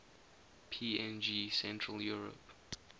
png central europe